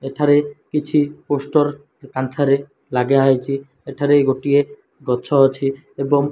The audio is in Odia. ଏଠାରେ କିଛି ପୋଷ୍ଟର କାନ୍ଥରେ ଲାଗା ହେଇଚି। ଏଠାରେ ଗୋଟିଏ ଗଛ ଅଛି ଏବଂ --